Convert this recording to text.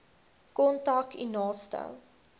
kontak u naaste